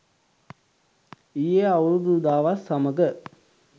ඊයේ අවුරුදු උදාවත් සමඟ